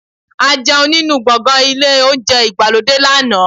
A jẹun nínú gbọ̀ngàn ilé Ohunjẹ́ ìgbàlódé lánàá